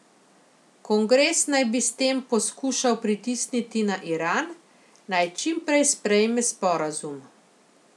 Kongres naj bi s tem poskušal pritisniti na Iran, naj čim prej sprejme sporazum.